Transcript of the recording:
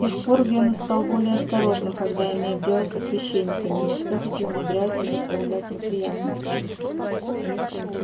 с тех пор венус стал более осторожным когда имеет дело со священниками но всё-таки умудряется доставлять неприятности